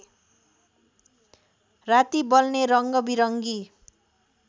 राति बल्ने रङ्गबिरङ्गी